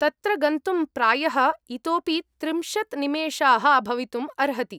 तत्र गन्तुं प्रायः इतोपि त्रिंशत् निमेषाः भवितुम् अर्हति।